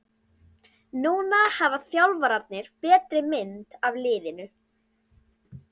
Núna hafa þjálfararnir betri mynd af liðinu.